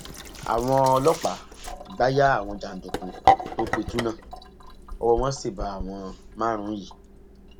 àwọn ọlọpàá gbà ya àwọn jàǹdùkú tó pitú náà ọwọ wọn sì bá àwọn márùnún yìí